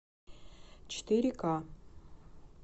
четыре к